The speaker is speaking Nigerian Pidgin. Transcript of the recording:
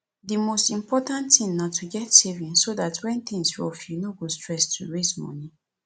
di most important thing na to get savings so dat when things rough you no go stress to raise moni